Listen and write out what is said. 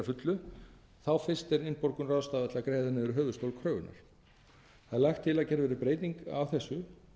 fullu þá fyrst er innborgun ráðstafað til að greiða niður höfuðstól kröfunnar það er lagt til að gerð verði breyting á þessu